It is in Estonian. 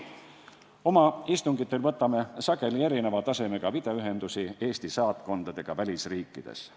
Oma istungitel võtame sageli video teel ühendust Eesti saatkondadega välisriikides.